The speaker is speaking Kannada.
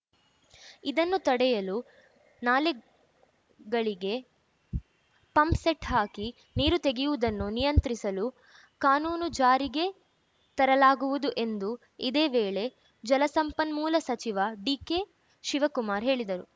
ಇದನ್ನು ತಡೆಯಲು ನಾಲೆಗಳಿಗೆ ಪಂಪ್‌ಸೆಟ್‌ ಹಾಕಿ ನೀರು ತೆಗೆಯುವುದನ್ನು ನಿಯಂತ್ರಿಸಲು ಕಾನೂನು ಜಾರಿಗೆ ತರಲಾಗುವುದು ಎಂದು ಇದೇ ವೇಳೆ ಜಲಸಂಪನ್ಮೂಲ ಸಚಿವ ಡಿಕೆಶಿವಕುಮಾರ್‌ ಹೇಳಿದರು